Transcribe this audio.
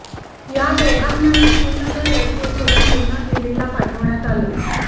या दोघांनाही श्रीनगर एअरपोर्टवरून पुन्हा दिल्लीला पाठवण्यात आलं